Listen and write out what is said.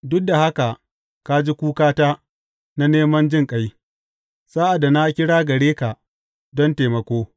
Duk da haka ka ji kukata na neman jinƙai sa’ad da na kira gare ka don taimako.